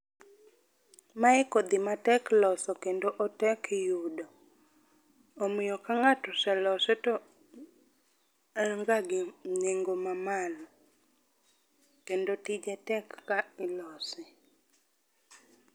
Mae kodhi matek loso kendo otek yudo omiyo ka ngato oselose to en ga gi nengo mamalo kendo tije tek ka ilose